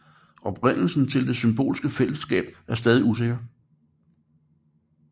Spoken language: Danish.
Oprindelsen til det symbiotiske fællesskab er stadig usikker